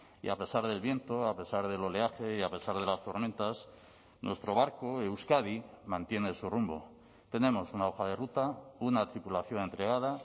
y a pesar del viento a pesar del oleaje y a pesar de las tormentas nuestro barco euskadi mantiene su rumbo tenemos una hoja de ruta una tripulación entregada